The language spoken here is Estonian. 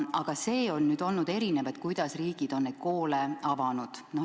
Aga see, kuidas riigid on koole avanud, on olnud erinev.